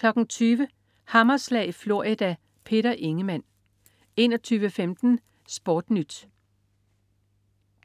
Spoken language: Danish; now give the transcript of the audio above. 20.00 Hammerslag i Florida. Peter Ingemann 21.15 SportNyt